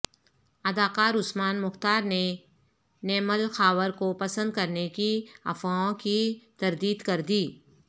اداکارعثمان مختار نے نیمل خاور کو پسند کرنے کی افواہوں کی تردید کر دی